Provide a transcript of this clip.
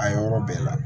A yɔrɔ bɛɛ la